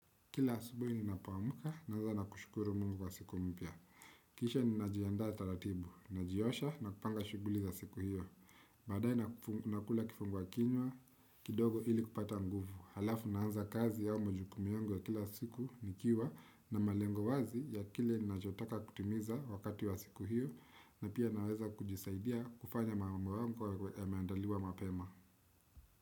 Kila asubuhi ninapoamka, naanzana kushukuru mungu wa siku mpya. Kisha ninajiandaa taratibu, najiosha na kupanga shughuli za siku hiyo. Baadae nakula kifungua kinywa, kidogo ili kupata nguvu. Alafu naanza kazi au majukumi yungu ya kila siku nikiwa na malengo wazi ya kile ninachotaka kutimiza wakati wa siku hiyo na pia naweza kujisaidia kufanya mambo yangu ya meandaliwa mapema.